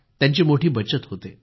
त्यांची मोठी बचत होते